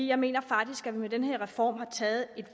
jeg mener faktisk at vi med den her reform har taget et